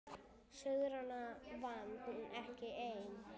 Sigrana vann hún ekki ein.